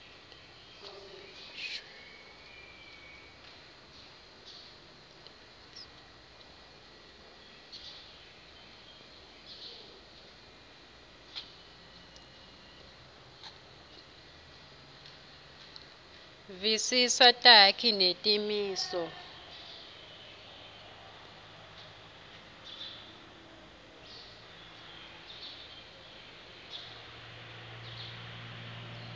visisa takhi netimiso